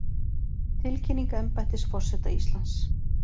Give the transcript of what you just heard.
Tilkynning embættis forseta Íslands